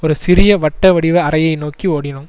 ஒரு சிறிய வட்ட வடிவ அறையை நோக்கி ஓடினோம்